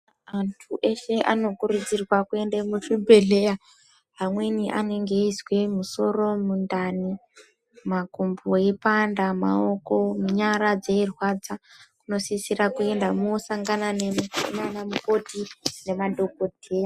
Antu eshe ano kurudzirwa kuende mu zvibhedhleya amweni anenge eyizwe musoro mundani makumbo eyi panda maoko nyara dzei rwadza muno sisira kuenda mo sangana nana mukoti ne madhokoteya.